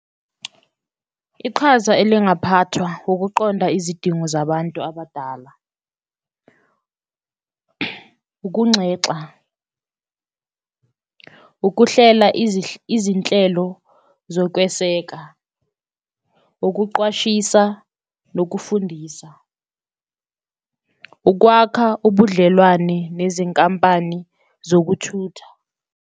Iqhaza elingaphathwa ukuqonda izidingo zabantu abadala ukunxexa, ukuhlela izinhlelo zokweseka, ukuqwashisa nokufundisa, ukwakha ubudlelwane nezinkampani zokuthutha.